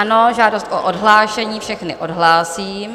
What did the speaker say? Ano, žádost o odhlášení, všechny odhlásím.